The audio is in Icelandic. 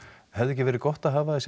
hefði ekki verið gott að hafa þessi